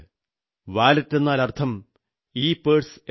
വാലറ്റെന്നാൽ അർഥം ഇപേഴ്സ് എന്നാണ്